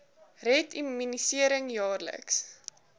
red immunisering jaarliks